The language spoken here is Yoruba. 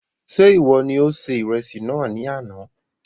Ṣe iwọ ní o se ìrẹsì náà ní àna